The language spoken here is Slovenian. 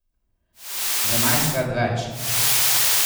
Dvanajstkrat več.